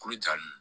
Kolo ja ninnu